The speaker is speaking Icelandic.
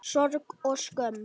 Sorg og skömm.